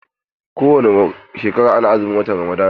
Kowani shekara ana azumin watan Ramadan.